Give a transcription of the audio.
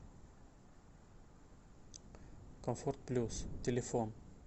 комфорт плюс телефон